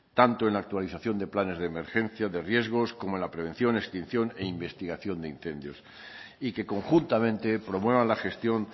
tanto en la actualización de planes de emergencia de riesgos como la prevención extinción e investigación de incendios y que conjuntamente promuevan la gestión